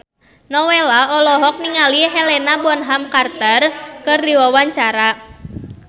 Nowela olohok ningali Helena Bonham Carter keur diwawancara